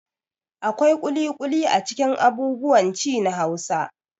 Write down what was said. Akwai ƙuliƙuli a cikin abubuwan ci na Hausawa.